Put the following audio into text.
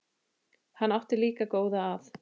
Hann átti líka góða að.